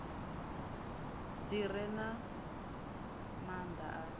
ḓi re na maanḓa a